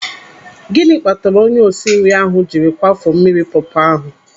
Gịnị kpatara onye osinri ahụ jiri kwafuo mmiri pọọpọ ahụ?